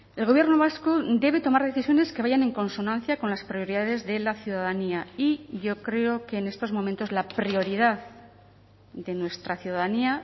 el gobierno vasco debe tomar decisiones que vayan en consonancia con las prioridades de la ciudadanía y yo creo que en estos momentos la prioridad de nuestra ciudadanía